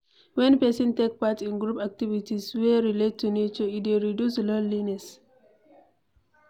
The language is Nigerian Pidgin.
When person take part in group activites wey relate to nature, e dey reduce loneliness